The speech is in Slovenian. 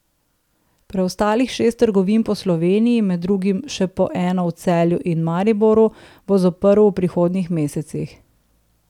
Preostalih šest trgovin po Sloveniji, med drugim še po eno v Celju in Mariboru, bo zaprl v prihodnjih mesecih.